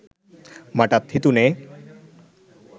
මටත් හිතුනේ